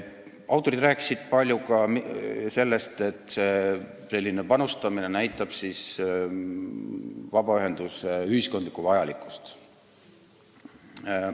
Autorid rääkisid palju ka sellest, et selline panustamine näitab vabaühenduste ühiskondlikku vajalikkust.